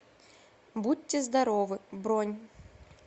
будьте здоровы бронь